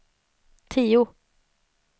tio